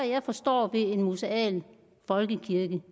jeg forstår ved en museal folkekirke